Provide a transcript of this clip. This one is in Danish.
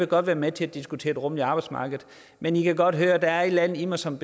godt være med til at diskutere et rummeligt arbejdsmarked men i kan godt høre der er et eller andet i mig som